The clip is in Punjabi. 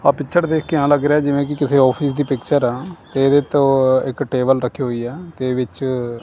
ਆਹ ਪਿਕਚਰ ਦੇਖ ਕੇ ਇਂਹ ਲੱਗ ਰਿਹਾ ਹੈ ਜਿਵੇਂ ਕੀ ਕਿਸੇ ਔਫਿਸ ਦੀ ਪਿਕਚਰ ਆ ਤੇ ਇਹਦੇ ਤੇ ਓਹ ਇੱਕ ਟੇਬਲ ਰੱਖੀ ਹੋਇਆ ਤੇ ਵਿੱਚ--